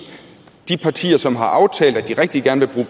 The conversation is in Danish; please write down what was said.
de partier som har aftalt at de rigtig gerne vil